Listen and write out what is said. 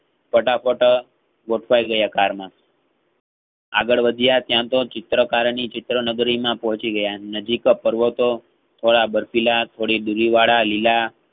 ફટાફટ અ ગોઠવાયગયા car માં આગળ વધ્યા ત્યાંતો ચેત્રકારોની ચિત્રનગરીમાં પહોંચી ગયા. નજીક પર્વતો થોડા બર્ફીલા થોડી દુરીવાળા લીલા